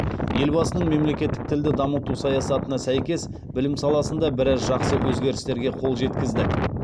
елбасының мемлекеттік тілді дамыту саясатына сәйкес білім саласында біраз жақсы өзгерістерге қол жеткіздік